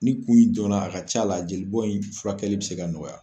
Ni kun in dɔn na a ka c'a la jelibɔn in furakɛli bɛ se ka nɔgɔya.